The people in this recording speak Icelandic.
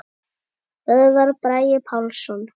Böðvar Bragi Pálsson